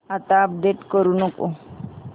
आता अपडेट करू नको